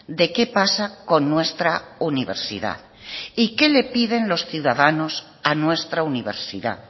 de qué pasa con nuestra universidad y qué le piden los ciudadanos a nuestra universidad